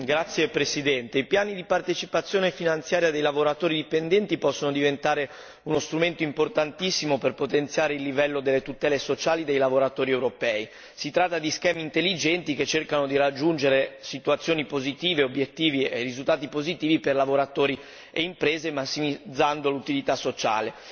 Signor Presidente, onorevoli colleghi, i piani di partecipazione finanziaria dei lavoratori dipendenti possono diventare uno strumento importantissimo per potenziare il livello delle tutele sociali dei lavoratori europei. Si tratta di schemi intelligenti che cercano di raggiungere situazioni positive, obiettivi e risultati positivi per lavoratori e imprese, massimizzando l'utilità sociale.